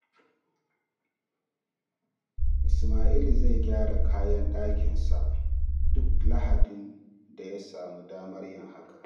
Ismail zai gyara kayan ɗakinsa duk Lahadin da ya samu damar yin hakan.